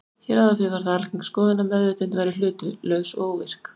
Hér áður fyrr var það algeng skoðun að meðvitund væri hlutlaus og óvirk.